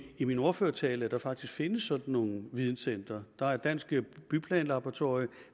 i min ordførertale at der faktisk findes sådan nogle videncentre der er dansk byplanlaboratorium